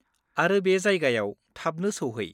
-आरो बे जायगायाव थाबनो सौहै।